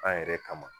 An yɛrɛ kama